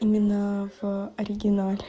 именно в оригинале